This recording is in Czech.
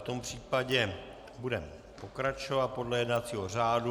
V tom případě budeme pokračovat podle jednacího řádu.